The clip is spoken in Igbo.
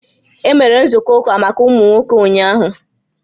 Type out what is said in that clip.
E mere nzukọ ụka maka ụmụ nwoke ụnyaahụ?